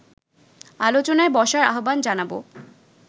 আলোচনায় বসার আহ্বান জানাবো